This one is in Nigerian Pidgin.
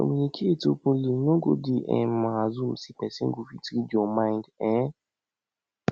communicate openly no go dey um assume say pesin go fit read yur mind um